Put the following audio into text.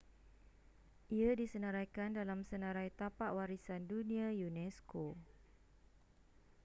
ia disenaraikan dalam senarai tapak warisan dunia unesco